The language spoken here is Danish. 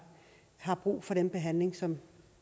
har brug for den behandling som